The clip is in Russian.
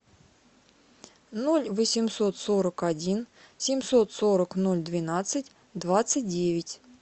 ноль восемьсот сорок один семьсот сорок ноль двенадцать двадцать девять